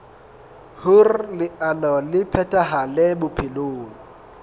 hoer leano le phethahale bophelong